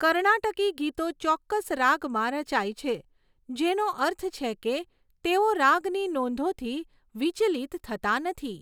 કર્ણાટકી ગીતો ચોક્કસ રાગમાં રચાય છે, જેનો અર્થ છે કે તેઓ રાગની નોંધોથી વિચલિત થતા નથી.